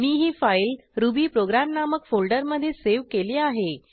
मी ही file Ruby program नामक फोल्डरमधे सेव्ह केली आहे